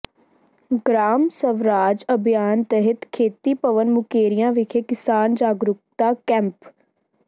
ਗਰਾਮ ਸਵਰਾਜ ਅਭਿਆਨ ਤਹਿਤ ਖੇਤੀ ਭਵਨ ਮੁਕੇਰੀਆਂ ਵਿਖੇ ਕਿਸਾਨ ਜਾਗਰੂਕਤਾ ਕੈਂਪ